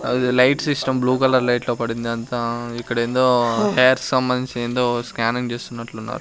అది light system blue colour light లో పడింది అంతా ఇక్కడ ఏందో హేర్ సంబంధించిన ఏందో స్కానింగ్ తీస్తున్నట్లు ఉన్నారు.